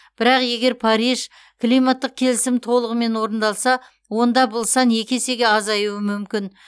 бірақ егер париж климаттық келісімі толығымен орындалса онда бұл сан екі есеге азаюы мүмкін